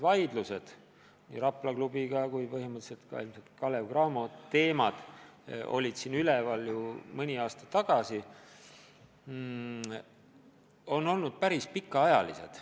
Vaidlused nii Rapla klubiga kui põhimõtteliselt ilmselt ka Kalev/Cramoga, mis siin mõni aasta tagasi käisid, on olnud päris pikaajalised.